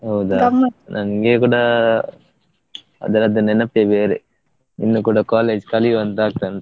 ನಮ್ಗೆ ಕೂಡ ಅದ್ರದ್ದು ನೆನಪೇ ಬೇರೆ, ಇನ್ನೂ ಕೂಡ college ಕಲಿವ ಅಂತ ಆಗ್ತಾ ಉಂಟು.